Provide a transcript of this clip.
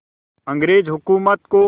अंग्रेज़ हुकूमत को